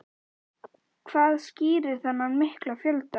Ásgeir Erlendsson: Hvað skýrir þennan mikla fjölda?